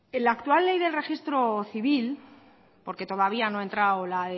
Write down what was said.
la actual ley del registro civil porque todavía no ha entrado la